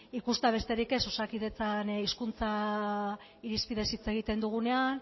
ikustea besterik ez osakidetzan hizkuntza irizpideez hitz egiten dugunean